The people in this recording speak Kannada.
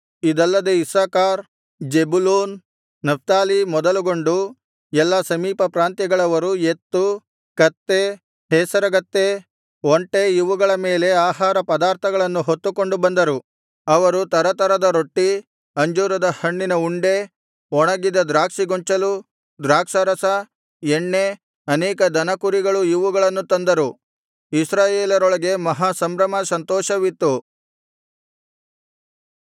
ಇದಲ್ಲದೆ ಇಸ್ಸಾಕಾರ್ ಜೆಬುಲೂನ್ ನಫ್ತಾಲಿ ಮೊದಲುಗೊಂಡು ಎಲ್ಲಾ ಸಮೀಪ ಪ್ರಾಂತ್ಯಗಳವರು ಎತ್ತು ಕತ್ತೆ ಹೇಸರಗತ್ತೆ ಒಂಟೆ ಇವುಗಳ ಮೇಲೆ ಆಹಾರ ಪದಾರ್ಥಗಳನ್ನು ಹೊತ್ತುಕೊಂಡು ಬಂದರು ಅವರು ತರತರದ ರೊಟ್ಟಿ ಅಂಜೂರಹಣ್ಣಿನ ಉಂಡೆ ಒಣಗಿದ ದ್ರಾಕ್ಷಿಗೊಂಚಲು ದ್ರಾಕ್ಷಾರಸ ಎಣ್ಣೆ ಅನೇಕ ದನಕುರಿಗಳು ಇವುಗಳನ್ನು ತಂದರು ಇಸ್ರಾಯೇಲರೊಳಗೆ ಮಹಾ ಸಂಭ್ರಮ ಸಂತೋಷವಿತ್ತು